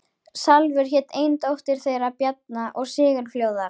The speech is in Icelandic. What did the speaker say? Salvör hét ein dóttir þeirra Bjarna og Sigurfljóðar.